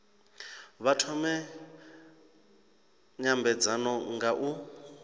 vha thome nymbedzano nga u